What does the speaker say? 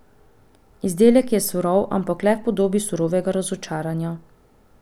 Izdelek je surov, ampak le v podobi surovega razočaranja.